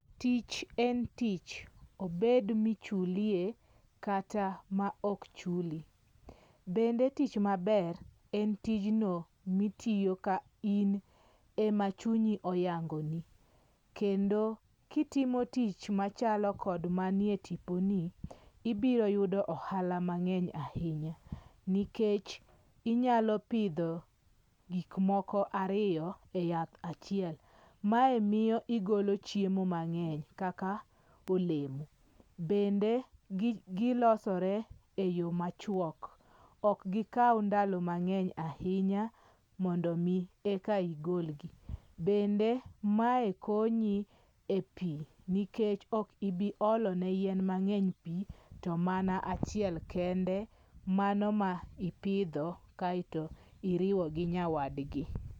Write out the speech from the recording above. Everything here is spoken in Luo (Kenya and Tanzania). Tich en tich, obed michulie kata ma ok chuli, bende tich maber en tijno mitiyo ka in emachunyi oyangoni, kendo kitimo tich machalo kod manie tiponi, ibiro yudo ohala mange'ny ahinya, nikech inyalo pitho gikmoko ariyo e yath achiel mae miyo igolo chiemo mangeny kaka olemo, bende gilosore e yo machuok, ok gi kau ndalo mangeny ahinya mondo mi eka igolgi, bende mae konyi e pi nikech okibiolo ne yien mange'ny to mana achiel kende mano ma ipithi kaeto iriwo gi nyawadgi.